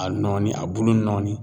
A nɔɔni a bulu nɔɔni.